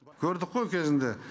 көрдік қой кезінде